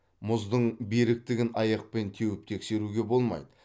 мұздың беріктігін аяқпен теуіп тексеруге болмайды